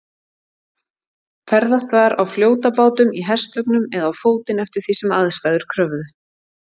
Ferðast var á fljótabátum, í hestvögnum eða á fótinn eftir því sem aðstæður kröfðu.